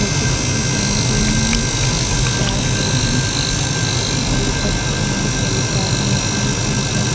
छोटे छोटे पेड़ भी है पहाड़ के जैसे और ऊपर से बहुत बड़ी तार निकली हुयी है।